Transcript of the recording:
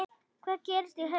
Hvað gerist í haust?